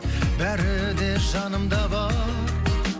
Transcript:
бәрі де жанымда бар